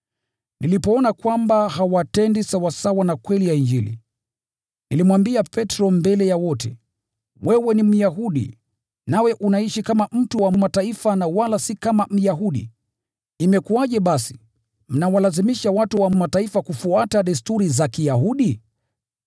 Nilipoona kwamba hawatendi sawasawa na kweli ya Injili, nilimwambia Petro mbele ya wote, “Wewe ni Myahudi, nawe unaishi kama mtu wa Mataifa na wala si kama Myahudi. Imekuwaje basi, mnawalazimisha watu wa Mataifa kufuata desturi za Kiyahudi?